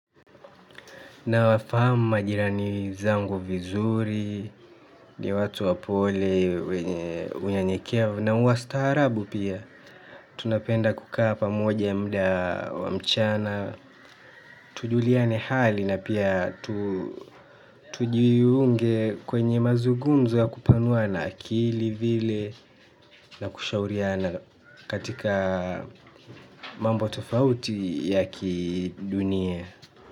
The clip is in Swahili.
Na wafahamu majirani zangu vizuri, ni watu wapole, wenye unyenyekevu na wa staarabu pia. Tunapenda kukaa pamoja mda wa mchana tujuliane hali na pia tu tujiunge kwenye mazugumzo ya kupanuana akili vile na kushauriana katika mambo tofauti ya kidunia.